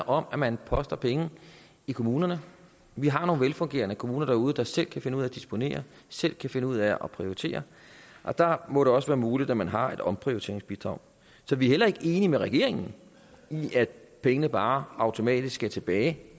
om at man poster penge i kommunerne vi har nogle velfungerende kommuner derude der selv kan finde ud af at disponere selv kan finde ud af at prioritere og der må det også være muligt at man har et omprioriteringsbidrag så vi er heller ikke enige med regeringen i at pengene bare automatisk skal tilbage